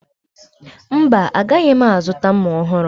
Mba, agaghị m azụta mma ọhụrụ